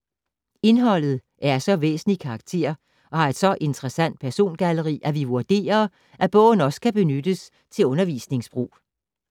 - Indholdet er af så væsentlig karakter og har et så interessant persongalleri, at vi vurderer, at bogen også kan benyttes til undervisningsbrug.